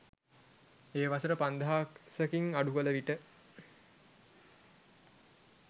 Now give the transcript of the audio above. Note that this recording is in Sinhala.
එය වසර පන්දහසකින් අඩු කළ විට